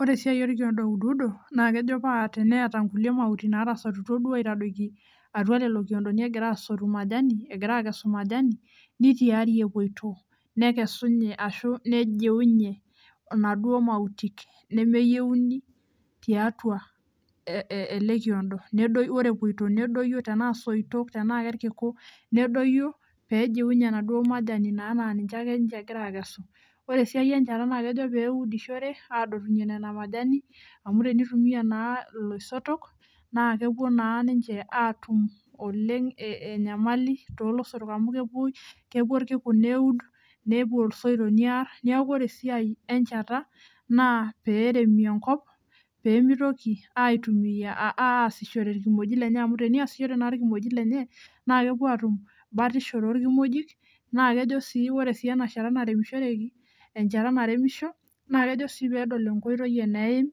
Ore esiai olkiondo ouduudo naa kejo pateenata inkulie mauti naatasotutuo duo aitadoki atua lelo kiondo egira asotu majani egira aakesu majani, nitiari epoito. Nekesunye ashu nejiunye inaduo mautik nemeyieouni tiatua ele kiondo ore epoito nedoyio tenaa soito, tenaa kelkiku, nedoyio peejiunye enaduo majani naaninje ake egira ninje aakesu. Ore siai enjata naakejo peeudishore aadotunyie nena majani, amu tenitumiya naa iloisotok naa kepuo naa kepuo naa ninje aatum oleng' enyamali too loisot amu kepuo ilkiku neud, nepuo isoito near, neeku ore esiai enjata naa peeremie enkop peemitoki aasishore ilkimojik lenye amu teneasishore naa ilkimojik lenye naa kepuo aatum batisho tookimojik naa kejo ore enashata naremishoreki, enjata nairemisho naa kejo sii peedol enkoitoi eneeim